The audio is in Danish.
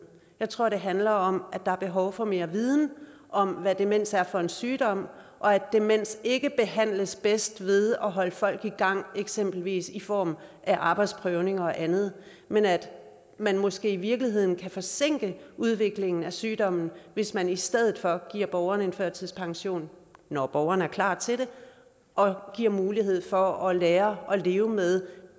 jeg tror det handler om at der er behov for mere viden om hvad demens er for en sygdom og at demens ikke behandles bedst ved at holde folk i gang eksempelvis i form af arbejdsprøvninger og andet men at man måske i virkeligheden kan forsinke udviklingen af sygdommen hvis man i stedet for giver borgeren en førtidspension når borgeren er klar til det og giver mulighed for at lære at leve med